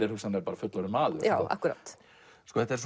er hugsanlega fullorðinn maður akkúrat þetta er